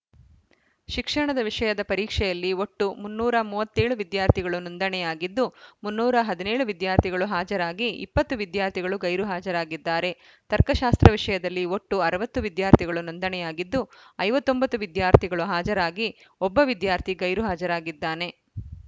ಶಿಕ್ಷಣದ ವಿಷಯದ ಪರೀಕ್ಷೆಯಲ್ಲಿ ಒಟ್ಟು ಮುನ್ನೂರ ಮೂವತ್ತ್ ಏಳು ವಿದ್ಯಾರ್ಥಿಗಳು ನೋಂದಣಿಯಾಗಿದ್ದು ಮುನ್ನೂರ ಹದಿನೇಳು ವಿದ್ಯಾರ್ಥಿಗಳು ಹಾಜರಾಗಿ ಇಪ್ಪತ್ತು ವಿದ್ಯಾರ್ಥಿಗಳು ಗೈರು ಹಾಜರಾಗಿದ್ದಾರೆ ತರ್ಕಶಾಸ್ತ್ರ ವಿಷಯದಲ್ಲಿ ಒಟ್ಟು ಅರವತ್ತು ವಿದ್ಯಾರ್ಥಿಗಳು ನೋಂದಣಿಯಾಗಿದ್ದು ಐವತ್ತ್ ಒಂಬತ್ತು ವಿದ್ಯಾರ್ಥಿಗಳು ಹಾಜರಾಗಿ ಒಬ್ಬ ವಿದ್ಯಾರ್ಥಿ ಗೈರು ಹಾಜರಾಗಿದ್ದಾನೆ